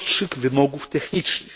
prostszych wymogów technicznych.